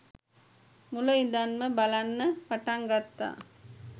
මුල ඉඳන්ම බලන්න පටන් ගත්තා